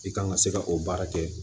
I kan ka se ka o baara kɛ